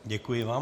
Děkuji vám.